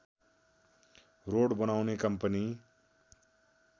road बनाउने company